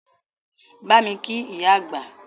Bámi kí ìyá àgbà!